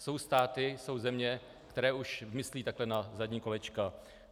Jsou státy, jsou země, které už myslí takhle na zadní kolečka.